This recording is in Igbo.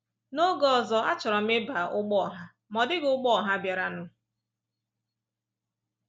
N’oge ọzọ, achọrọ m ịba ụgbọ ọha, ma ọ dịghị ụgbọ ọha bịaranụ.